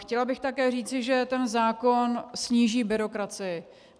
Chtěla bych také říci, že ten zákon sníží byrokracii.